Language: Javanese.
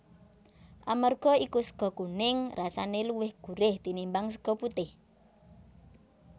Amarga iku sega kuning rasane luwih gurih tinimbang sega putih